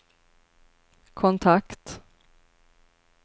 kontakt